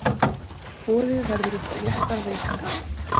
Boðið verður upp á léttar veitingar.